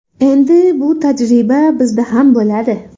Endi bu tajriba bizda ham bo‘ladi.